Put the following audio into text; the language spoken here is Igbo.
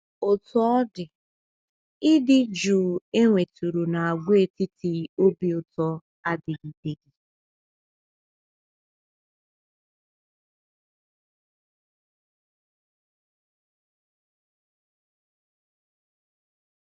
Otú ọ dị, ịdị jụụ e nwetụrụ n’Àgwàetiti Obi Ụtọ adịgideghị.